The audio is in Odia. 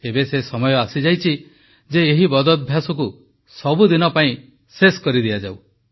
ଏବେ ସେ ସମୟ ଆସିଯାଇଛି ଯେ ଏହି ବଦଭ୍ୟାସକୁ ସବୁଦିନ ପାଇଁ ଶେଷ କରି ଦିଆଯାଉ